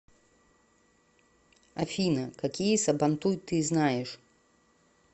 афина какие сабантуй ты знаешь